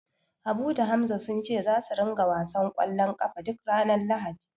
Habu da Hamza sun ce zasu ringa wasan ƙwallon ƙafa duk ranar Lahadi.